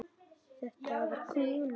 Þetta var kona.